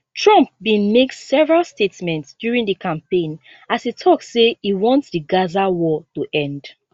trump bin make several statements during di campaign as e tok say e want di gaza war to end